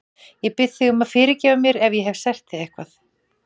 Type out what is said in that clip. Ég bið þig að fyrirgefa mér ef ég hef sært þig eitthvað.